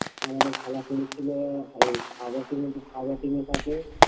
আমাদের খেলা পড়েছিল এই Howrah team to Howrah team - এর সাথে